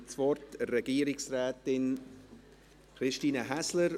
Dann gebe ich das Wort Regierungsrätin Christine Häsler.